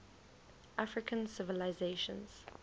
african civilizations